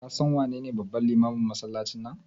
Ka san wanene babban limamin masallacin nan?